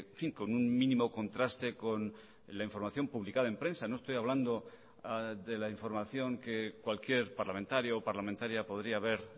fin con un mínimo contraste con la información publicada en prensa no estoy hablando de la información que cualquier parlamentario o parlamentaria podría haber